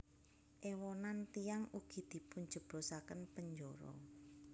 Èwonan tiyang ugi dipunjeblosaken penjara